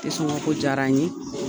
Te sɔngɔn ko diyar'an ye!